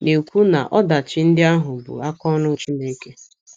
na - ekwu na ọdachi ndị ahụ bụ aka ọrụ Chineke.